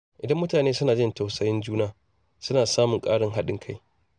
Idan mutane suna jin tausayin juna, suna samun ƙarin haɗin kai.